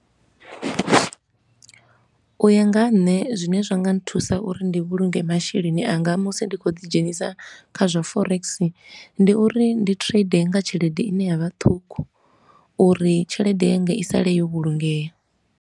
U ya nga ha nṋe zwine zwa nga nthusa uri ndi vhulunge masheleni anga musi ndi khou ḓi dzhenisa kha zwa forex, ndi uri ndi trade nga tshelede i ne ya vha ṱhukhu uri tshelede yanga i saḽe yo vhulungea.